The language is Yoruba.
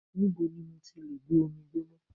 Níbo ni mo ti lè gbé omi gbóná.?